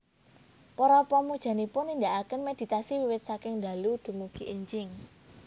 Para pamujanipun nindakaken méditasi wiwit saking dalu dumugi énjing